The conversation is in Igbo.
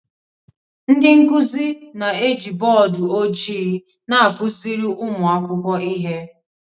Ndị nkuzi na-eji bọọdụ ojii na-akụziri ụmụ akwụkwọ ihe